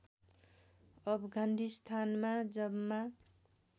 अफगानिस्तानमा जम्मा